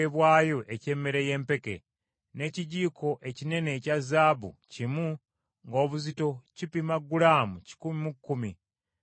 n’ekijiiko ekinene ekya zaabu kimu ng’obuzito kipima gulaamu kikumi mu kkumi, nga kijjudde ebyakaloosa;